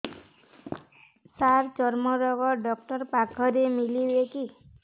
ସାର ଚର୍ମରୋଗ ଡକ୍ଟର ପାଖରେ ମିଳିବେ କି